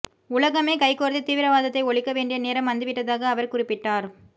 உலகமே கைகோர்த்து தீவிரவாதத்தை ஒழிக்க வேண்டிய நேரம் வந்து விட்டதாக அவர் குறிப்பிட்டார்